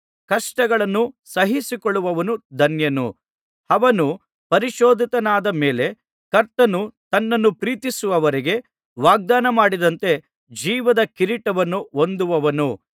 ಕಷ್ಟಗಳನ್ನು ಸಹಿಸಿಕೊಳ್ಳುವವನು ಧನ್ಯನು ಅವನು ಪರಿಶೋಧಿತನಾದ ಮೇಲೆ ಕರ್ತನು ತನ್ನನ್ನು ಪ್ರೀತಿಸುವವರಿಗೆ ವಾಗ್ದಾನಮಾಡಿದಂತೆ ಜೀವದ ಕಿರೀಟವನ್ನು ಹೊಂದುವನು